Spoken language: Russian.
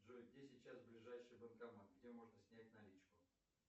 джой где сейчас ближайший банкомат где можно снять наличку